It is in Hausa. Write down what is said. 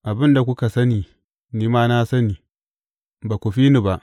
Abin da kuka sani, ni ma na sani; ba ku fi ni ba.